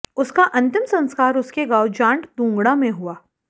उसका अंतिम संस्कार उसके गांव जांट दोंगड़ा में हुआ